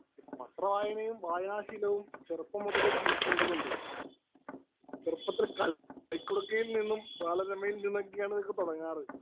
Speaker 1 പത്രവായനയും, വായനാശീലവും ചെറുപ്പം മുതലേ ശീലിക്കേണ്ടതുണ്ട്. ചെറുപ്പത്തില്‍ കളിക്കുടുക്കയില്‍ നിന്നും, ബാലരമയില്‍ നിന്നുമൊക്കെയാണ് ഇതൊക്കെ തുടങ്ങാറ്.